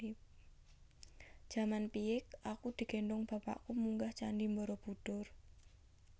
Jaman piyik aku digendhong bapakku munggah candi Borobudur